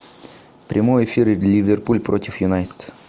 прямой эфир ливерпуль против юнайтед